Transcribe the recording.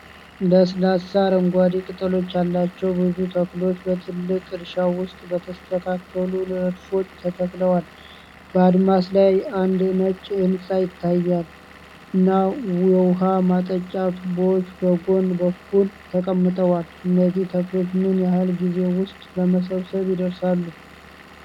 ለስላሳ አረንጓዴ ቅጠሎች ያላቸው ብዙ ተክሎች በትልቅ እርሻ ውስጥ በተስተካከሉ ረድፎች ተተክለዋል። በአድማስ ላይ አንድ ነጭ ሕንፃ ይታያል፣ እና የውኃ ማጠጫ ቱቦዎች በጎን በኩል ተቀምጠዋል። እነዚህ ተክሎች ምን ያህል ጊዜ ውስጥ ለመሰብሰብ ይደርሳሉ?